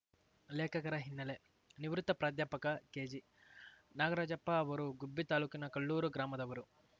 ಲೇಖಕರ ಹಿನ್ನೆಲೆ ನಿವೃತ್ತ ಪ್ರಾಧ್ಯಾಪಕ ಕೆಜಿ ನಾಗರಾಜಪ್ಪ ಅವರು ಗುಬ್ಬಿ ತಾಲೂಕಿನ ಕಲ್ಲೂರು ಗ್ರಾಮದವರು